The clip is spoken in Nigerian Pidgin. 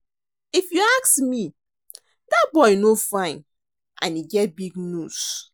If you ask me dat boy no fine and e get big nose